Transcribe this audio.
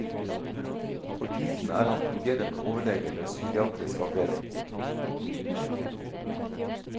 For tiden er han fungerende overlege ved psykiatrisk avdeling.